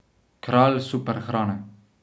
Kralj superhrane.